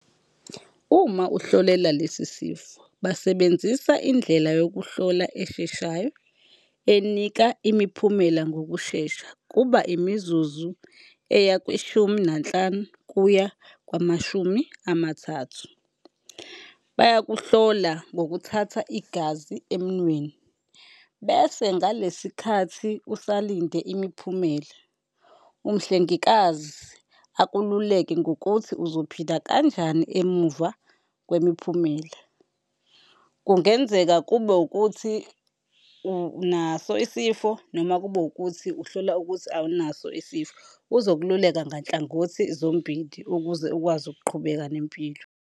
Uma uhlolela lesi sifo, basebenzisa indlela yokuhlola esheshayo, enika imiphumela ngokushesha. Kuba imizuzu eya kwishumi nanhlanu kuya kwamashumi amathathu. Bayakuhlola ngokuthatha igazi emunweni bese ngalesi khathi usalinde imiphumela, umhlengikazi akululeke ngokuthi uzophila kanjani emuva kwemiphumela. Kungenzeka kube wukuthi unaso isifo noma kube wukuthi uhlola ukuthi awunaso isifo, uzokululeka nganhlangothi zombili ukuze ukwazi ukuqhubeka nempilo.